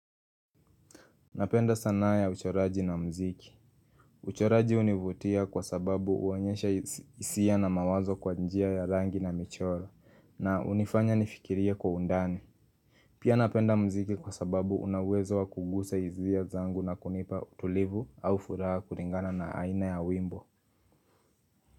Napenda sanaa ya uchoraji na mziki. Uchoraji univutia kwa sababu uonyesha isia na mawazo kwa njia ya rangi na michoro na unifanya nifikirie kwa undani. Pia napenda mziki kwa sababu una uwezo wa kugusa isia zangu na kunipa utulivu au furaha kulingana na aina ya wimbo.